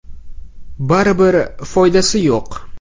Baribir foydasi yo‘q.